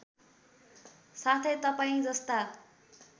साथै तपाईँ जस्ता